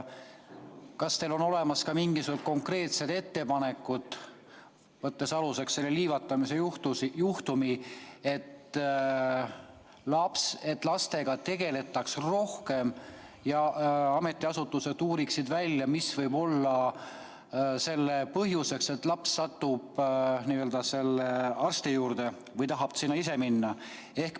Kas teil on ka mingisugused konkreetsed ettepanekud, kui võtta aluseks kas või see liivatamise juhtum, et lastega tegeletaks rohkem, et ametiasutused uuriksid välja, mis võib olla põhjuseks, et laps satub psühhiaatri juurde või tahab sinna ise minna?